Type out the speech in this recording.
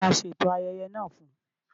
Tá ní a ṣeto ayẹyẹ naa fún?